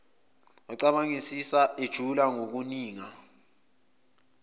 ecabangisisa ejula ngokuninga